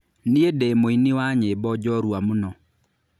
Niĩ ndĩ mũini wa nyĩmbo njorua mũno.